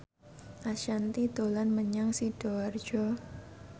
Ashanti dolan menyang Sidoarjo